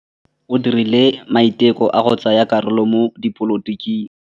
O dirile maitekô a go tsaya karolo mo dipolotiking.